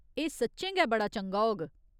एह् सच्चें गै बड़ा चंगा होग।